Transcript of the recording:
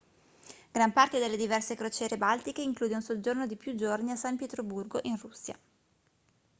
gran parte delle diverse crociere baltiche include un soggiorno di più giorni a san pietroburgo in russia